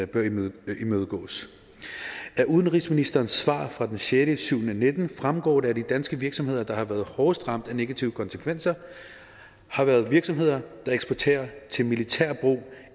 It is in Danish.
bør imødegås imødegås af udenrigsministerens svar fra den sjette nitten fremgår det at de danske virksomheder der har været hårdest ramt af negative konsekvenser har været virksomheder der eksporterer til militært brug